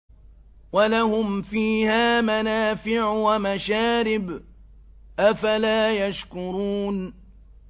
وَلَهُمْ فِيهَا مَنَافِعُ وَمَشَارِبُ ۖ أَفَلَا يَشْكُرُونَ